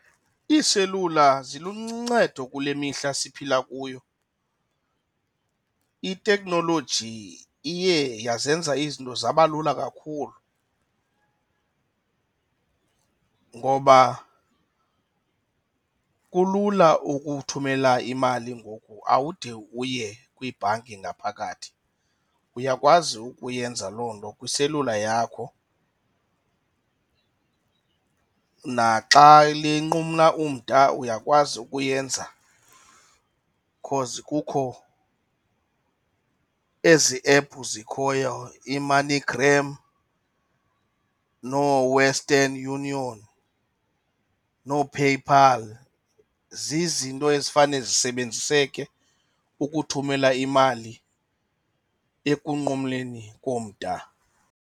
Iiselula ziluncedo kule mihla siphila kuyo. Iteknoloji iye yazenza izinto zaba lula kakhulu ngoba kulula ukuthumela imali ngoku, awude uye kwibhanki ngaphakathi uyakwazi ukuyenza loo nto kwiselula yakho. Naxa linqumla umda uyakwazi ukuyenza cause kukho ezi ephu zikhoyo iIMoneyGram nooWestern Union, nooPayPal, zizinto ezifane zisebenziseke ukuthumela imali enkunqumleni komda.